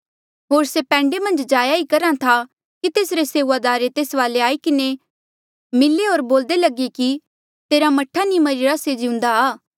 होर से पैंडे मन्झ जाया ही करहा था कि तेसरे सेऊआदारे तेस वाले आई किन्हें मिले होर बोल्दे लगे कि तेरा मह्ठा नी मरिरा से जिउंदा आ